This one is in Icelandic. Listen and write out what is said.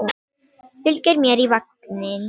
Fylgir mér í vagninn.